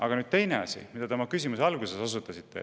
Aga nüüd teisest asjast, millele te oma küsimuse alguses osutasite.